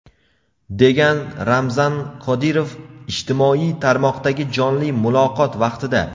degan Ramzan Qodirov ijtimoiy tarmoqdagi jonli muloqot vaqtida.